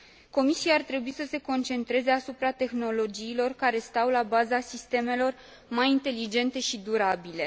Comisia ar trebui să se concentreze asupra tehnologiilor care stau la baza sistemelor mai inteligente și durabile.